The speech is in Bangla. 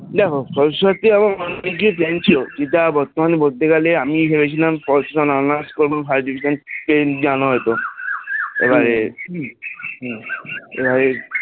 দেখো ভবিষ্যতে আমার অনেক কিছুই plan ছিল সেটা বর্তমানে বলতে গেলে আমি ভেবেছিলাম POL science এ Honours করব first division পেয়েছি জানো হয়ত এবারে এবারে যাই হোক